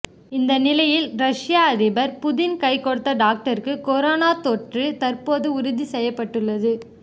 இந்த நிலையில் ரஷ்ய அதிபர் புதின் கைகொடுத்த டாக்டருக்கு கொரோனா தொற்று தற்போது உறுதி செய்யப்பட்டுள்ளது